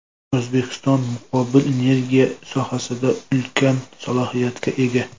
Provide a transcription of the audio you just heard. O‘zbekiston muqobil energiya sohasida ulkan salohiyatga ega.